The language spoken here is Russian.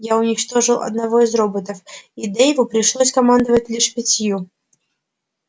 я уничтожил одного из роботов и дейву пришлось командовать лишь пятью